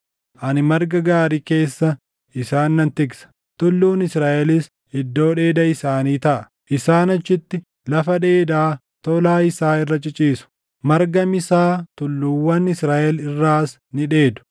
Ani marga gaarii keessa isaan nan tiksa; tulluun Israaʼelis iddoo dheeda isaanii taʼa. Isaan achitti lafa dheedaa tolaa isaa irra ciciisu; marga misaa tulluuwwan Israaʼel irraas ni dheedu.